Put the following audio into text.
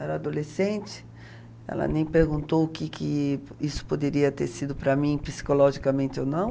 Era adolescente, ela nem perguntou o que que isso poderia ter sido para mim psicologicamente ou não.